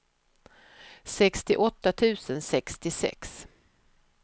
sextioåtta tusen sextiosex